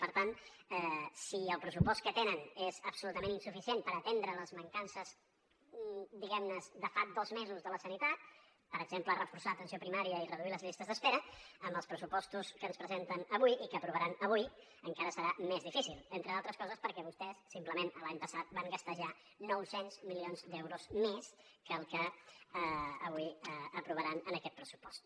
per tant si el pressupost que tenen és absolutament insuficient per atendre les mancances diguem ne de fa dos mesos de la sanitat per exemple reforçar l’atenció primària i reduir les llistes d’espera amb els pressupostos que ens presenten avui i que aprovaran avui encara serà més difícil entre d’altres coses perquè vostès simplement l’any passat van gastar ja nou cents milions d’euros més que el que avui aprovaran en aquest pressupost